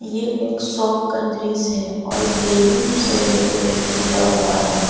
यह एक शॉप का दृश्य है और बैलून से डेकोरेट किया हुआ है।